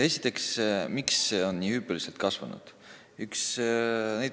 Esiteks, miks on see valdkond nii hüppeliselt kasvanud.